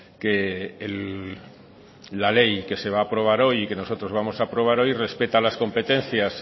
que la ley que se va a aprobar hoy y que nosotros vamos a aprobar hoy respeta las competencias